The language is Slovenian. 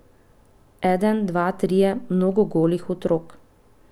Eden, dva, trije, mnogo golih otrok.